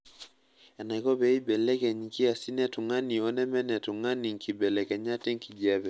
Enaiko pee eibelekeny nkiasin e tungani oneme netungani nkibelekenyat enkiepe.